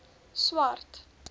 swart